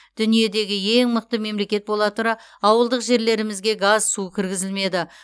дүниедегі ең мықты мемлекет бола тұра ауылдық жерлерімізге газ су кіргізілмеді